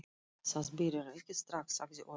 Það byrjar ekki strax, sagði Örn.